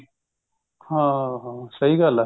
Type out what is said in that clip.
ਹਾਂ ਹਾਂ ਸਹੀ ਗੱਲ ਹੈ